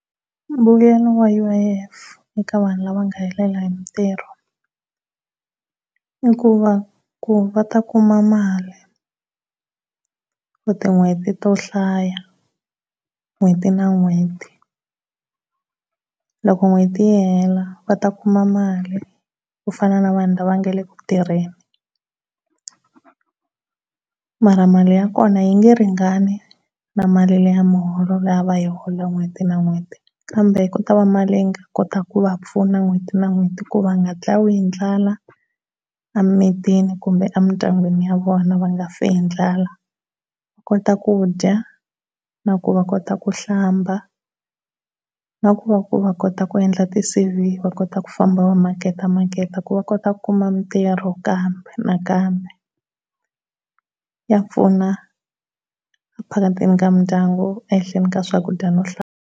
Mbuyelo wa U_I_F eka vanhu lava nga helela hi mitirho i ku va ku va ta kuma mali tin'hweti to hlaya n'hweti na n'hweti. Loko n'hweti yi hela va ta kuma mali ku fana na vanhu lava nga le ku tirheni. Mara mali ya kona yi nge ringani na mali leya muholo leyi a va yi hola n'hweti na n'hweti kambe ku ta va mali leyi nga kota ku va pfuna n'hweti na n'hweti ku va nga dlawi hi ndlala emimitini kumbe emindyangwini ya vona va nga fi hi ndlala va kota ku dya na ku va kota ku hlamba na ku va ku va kota ku endla ti C_V va kota ku famba va maketamaketa ku va kota ku kuma mitirho kambe nakambe. Ya pfuna ka mindyangu ehenhleni ka swakudya no .